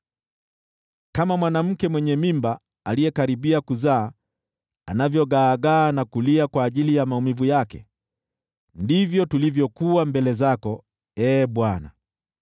Kama mwanamke mwenye mimba aliyekaribia kuzaa anavyogaagaa na kulia kwa ajili ya maumivu yake, ndivyo tulivyokuwa mbele zako, Ee Bwana .